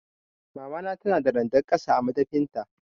Mamana tana da randar ƙasa a madafin ta.